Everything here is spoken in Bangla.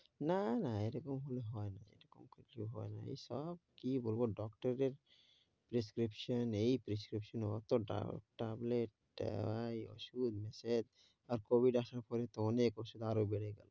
না না এরকম হলে হয়না এরকম কিছু হয়না। এই সব কী বলব doctor দের prescription এই prescription অত ta~ tablet আর এই ওষুধ massage, আর COVID আসার পরে তো অনেক ওষুধ আরও বেড়ে গেল।